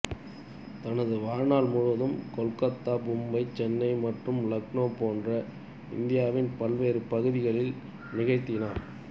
தனது வாழ்நாள் முழுவதும் கொல்கத்தா மும்பை சென்னை மற்றும் இலக்னோ போன்ற இந்தியாவின் பல்வேறு பகுதிகளில் நிகழ்த்தினார்